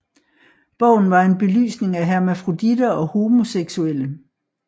Bogen var en belysning af hermafroditer og homoseksuelle